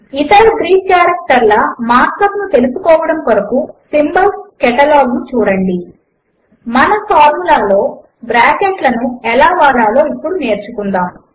ఇతర గ్రీకు కారెక్టర్ల markup ను తెలుసుకోవడము కొరకు సింబాల్స్ Catalogను చూడండి మన ఫార్ములా లలో బ్రాకెట్లను ఎలా వాడలో ఇప్పుడు నేర్చుకుందాము